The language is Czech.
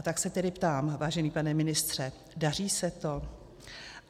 A tak se tedy ptám, vážený pane ministře - daří se to?